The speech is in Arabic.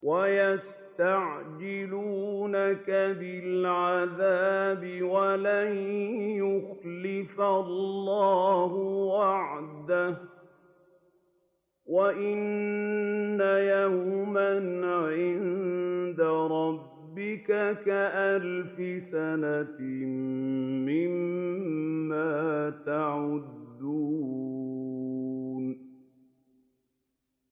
وَيَسْتَعْجِلُونَكَ بِالْعَذَابِ وَلَن يُخْلِفَ اللَّهُ وَعْدَهُ ۚ وَإِنَّ يَوْمًا عِندَ رَبِّكَ كَأَلْفِ سَنَةٍ مِّمَّا تَعُدُّونَ